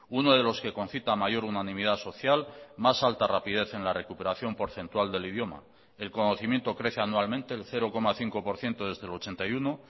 uno de los que concita mayor unanimidad social más alta rapidez en la recuperación porcentual del idioma el conocimiento crece anualmente el cero coma cinco por ciento desde el ochenta y uno